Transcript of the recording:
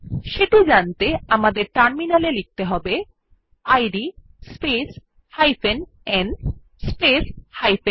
সেটি জানতে আমাদের টার্মিনাল এ লিখতে হবে id space n space u